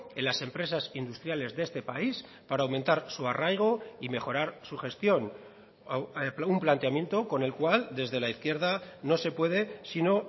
en las empresas industriales de este país para aumentar su arraigo y mejorar su gestión un planteamiento con el cual desde la izquierda no se puede sino